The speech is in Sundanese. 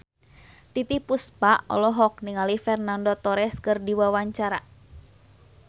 Titiek Puspa olohok ningali Fernando Torres keur diwawancara